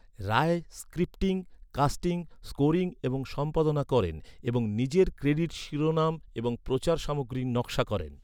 রায় scripting, casting, scoring এবং সম্পাদনা করেন এবং নিজের ক্রেডিট শিরোনাম এবং প্রচার সামগ্রীর নকশা করেন।